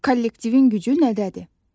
Kollektivin gücü nədədir?